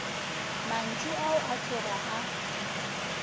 mantšu ao a tloga a